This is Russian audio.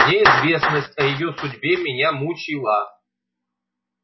неизвестность о её судьбе меня мучила